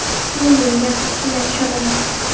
Men bunga qat’iyan ishonaman.